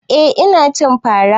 Eh ina cin fara